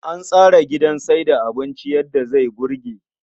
An tsara wurin sayar da abinci yadda zai burge.